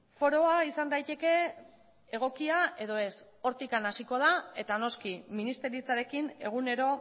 foroa izan daiteke egokia edo ez hortik hasiko da eta noski ministeritzarekin egunero